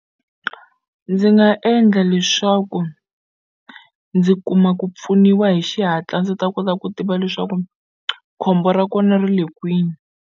Ndzi nga endla leswaku ndzi kuma ku pfuniwa hi xihatla ndzi ta kota ku tiva leswaku khombo ra kona ri le kwini.